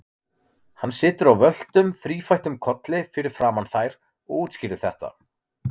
Hann situr á völtum, þrífættum kolli fyrir framan þær og útskýrir þetta.